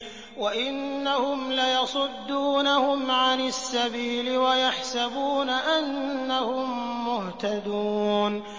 وَإِنَّهُمْ لَيَصُدُّونَهُمْ عَنِ السَّبِيلِ وَيَحْسَبُونَ أَنَّهُم مُّهْتَدُونَ